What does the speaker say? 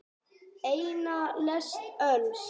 Eina lest öls.